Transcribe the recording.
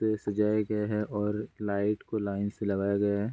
ये सजाए गए है और लाइट को लाइन से लगाए गए है।